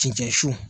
Cɛncɛnsu